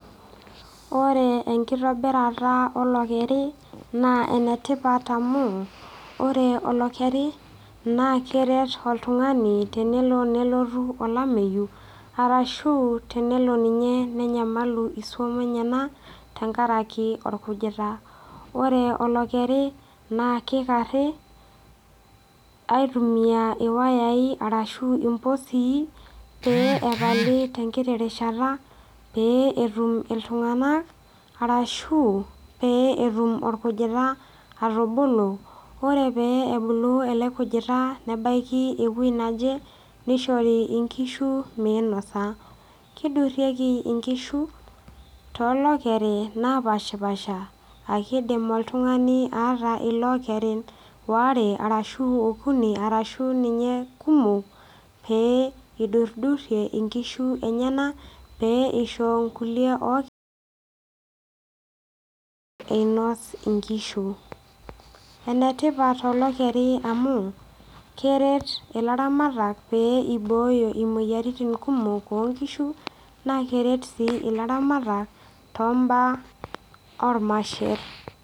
Ore enkitobirata olokeri na enetipat amu ore olokeri na keret oltungani tenelo nelotu olameyu arashu tenelo nenyamalu nkishu enyenak tenkaraki orkujita, ore olokeri na kikari aitumia iwayai ashu impisi peingoruni terishata petum ltunganak peetumu orkujita atubulu ore pebulu elekujita nebaki ewueji nishori nkishu minosa kidurieki nkishu tolokeri lopashipasha arashu kidim oltungani aata ilakerin waare ashu onkuni arshubninye kumok peyie idurduri nkishubenyenak pisho irkulie einos nkishu enetipat olekerin amu kibooyo moyiaritin onkishuna keret si laramatak to mbaa ormaher.